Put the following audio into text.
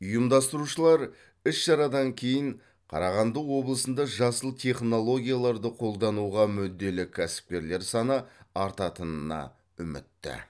ұйымдастырушылар іс шарадан кейін қарағанды облысында жасыл технологияларды қолдануға мүдделі кәсіпкерлер саны артатынына үмітті